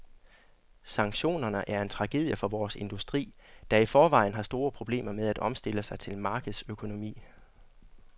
Sanktionerne er en tragedie for vores industri, der i forvejen har store problemer med at omstille sig til markedsøkonomi.